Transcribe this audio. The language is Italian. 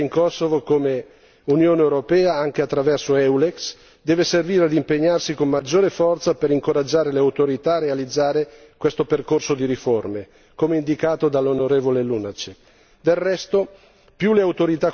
Per tutto questo, la nostra presenza in Kosovo come Unione europea, anche attraverso Eulex, deve servire ad impegnarsi con maggiore forza per incoraggiare le autorità a realizzare questo percorso di riforme, come indicato dall'onorevole Lunacek.